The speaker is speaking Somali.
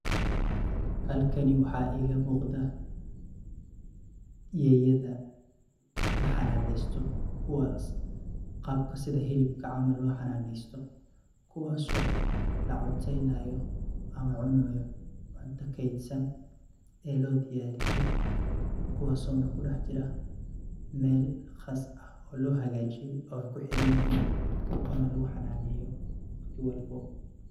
Halkani waxa iga muqdah, eeyada laxananeystoh kuwa qaabka setha helibka camal lo xananeystoh kuwaso la cuneynayo amah cunayo cuntaha keetsan, ee lo diyariyay kuwaso kudaxjiran meel qaas aah oo lo hakajeeye oo kuxiranyahin, oo lagu xananeyoh si welbo.